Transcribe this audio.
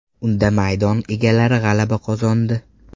Unda maydon egalari g‘alaba qozondi.